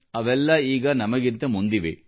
ಅವೆಲ್ಲಾ ಈಗ ನಮಗಿಂತ ಮುಂದಿವೆ